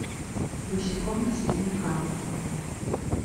босиком по слизнякам